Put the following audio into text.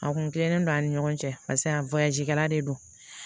A kun tilennen don ani ɲɔgɔn cɛ paseke kalan de don